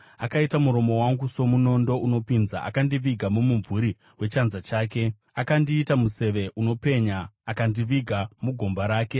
Akaita muromo wangu somunondo unopinza, akandiviga mumumvuri wechanza chake; akandiita museve unopenya, akandiviga mugomba rake.